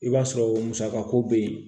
I b'a sɔrɔ musaka ko bɛ ye